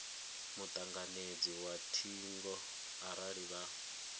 mutanganedzi wa thingo arali vha